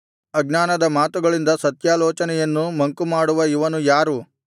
ಅಜ್ಞಾನದ ಮಾತುಗಳಿಂದ ಸತ್ಯಾಲೋಚನೆಯನ್ನು ಮಂಕುಮಾಡುವ ಇವನು ಯಾರು